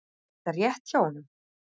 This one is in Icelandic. Er þetta rétt hjá honum?